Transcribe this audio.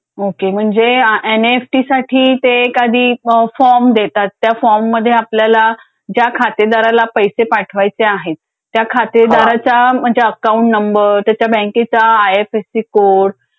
Okay म्हणजे N E F T साठी ते एखादी फॉर्म देतात. त्या फॉर्ममध्ये आपल्याला ज्या खातेदाराला पैसे पाठवायचे आहेत. त्या खातेदाराच्या म्हणजे अकाउंट नंबर त्याच्या बँकेचा I F S C code